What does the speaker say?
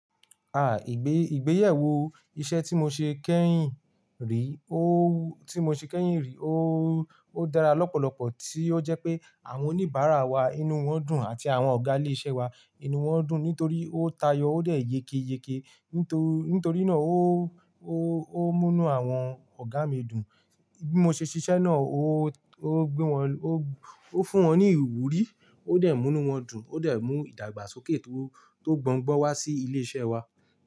Ah ìgbé ìgbéyẹ̀wò iṣẹ́ tí mo ṣe kẹ́yìn rí, ó tí mo ṣe kẹ́yìn rí ó dára lọ́pọ̀lọ́pọ̀ tí ó jẹ́ pé àwọn oníbàárà wa inú wọn dùn àti àwọn ọ̀gá ilé-iṣẹ́ wa inú wọn dùn nítorí ó tayọ ó dẹ̀ yeyeyeke. Nítorí náà ó, ó, ó múnú àwọn ọ̀gá mi dùn. Bí mo ṣe ṣiṣẹ́ náà ó, ó gbé wọn ló, ó fún wọn ní ìwúrí, ó dẹ̀ múnú wọn dùn, ó dẹ̀ mú ìdàgbàsókè tó, tó gbọn-gbọ́n wá sí ilé-iṣẹ́ wa.